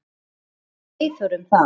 Hvað fannst Eyþóri um það?